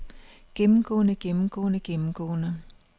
gennemgående gennemgående gennemgående